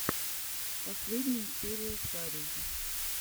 последняя серия шарий